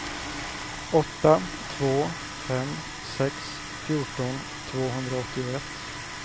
åtta två fem sex fjorton tvåhundraåttioett